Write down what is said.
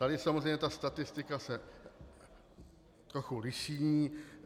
Tady samozřejmě ta statistika se trochu liší.